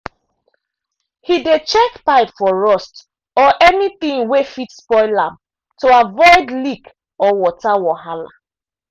he dey check pipe for rust or anything wey fit spoil am to avoid leak or water wahala.